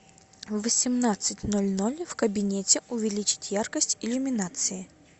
в восемнадцать ноль ноль в кабинете увеличить яркость иллюминации